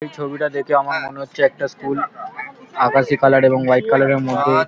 এই ছবিটা দেখে আমার মনে হচ্ছে একটা স্কুল আকাশি কালার এবং হোয়াইট কালার -এর মধ্যে--